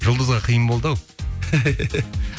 жұлдызға қиын болды ау